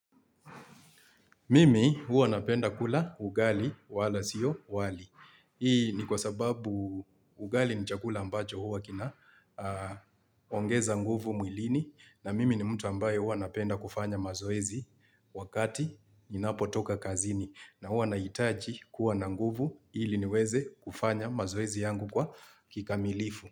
Mimi huwa napenda kula ugali wala sio wali. Hii ni kwa sababu ugali ni chakula ambacho huwa kina ongeza nguvu mwilini na mimi ni mtu ambaye huwa napenda kufanya mazoezi wakati ninapo toka kazini na huwa nahitaji kuwa na nguvu ili niweze kufanya mazoezi yangu kwa kikamilifu.